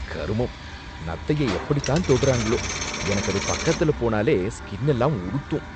கருமம்! நத்தைய எப்படித்தான் தொடுறாங்களோ, எனக்கு அது பக்கத்துல போனாலே ஸ்கின்னெல்லாம் உறுத்தும்.